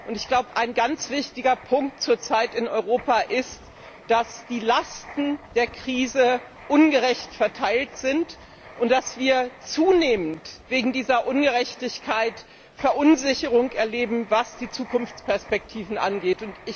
Und ein ganz wichtiger Punkt ist zur Zeit in Europa, dass die Lasten der Krise ungerecht verteilt sind und dass wir zunehmend wegen dieser Ungerechtigkeit Verunsicherung erleben, was die Zukunftsperspektiven angeht.